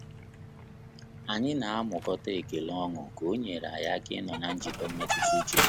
Anyị na amụkata ekele ọṅu ka o nyere anyị aka ịnọ na njikọ mmetụta uche